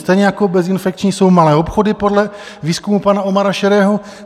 Stejně jako bezinfekční jsou malé obchody podle výzkumu pana Omara Šerého.